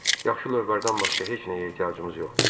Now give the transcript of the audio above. Yaxşı lövbərdən başqa heç nəyə ehtiyacımız yoxdur.